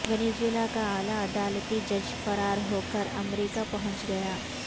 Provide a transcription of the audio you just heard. Venezuela کا اعلی عدالتی جج فرار ہو کر امریکہ پہنچ گیا